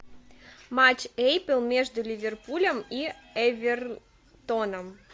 матч апл между ливерпулем и эвертоном